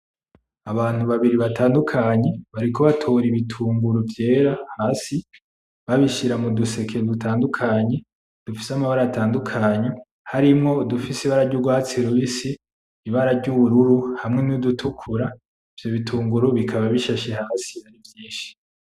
Abantu babiri batandukanye bariko batora ibitunguru vyera hasi babishira muduseke dutandukanye dufise amabara atandukanye, harimwo udufise ibara ry'urwatsi rubisi , ibara ry'ubururu hamwe n'udutukura ,ivyo bitunguru bikaba bishashe hasi arivyinshi.